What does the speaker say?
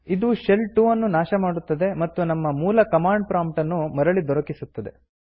ಇದು ಶೆಲ್ 2 ನ್ನು ನಾಶ ಮಾಡುತ್ತದೆ ಮತ್ತು ನಮ್ಮ ಮೂಲ ಕಮಾಂಡ್ ಪ್ರಾಂಪ್ಟನ್ನು ಮರಳಿ ದೊರಕಿಸುತ್ತದೆ